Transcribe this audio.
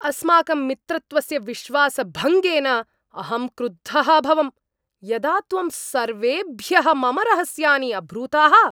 अस्माकं मित्रत्वस्य विश्वासभङ्गेन अहं क्रुद्धः अभवं, यदा त्वं सर्वेभ्यः मम रहस्यानि अब्रूथाः।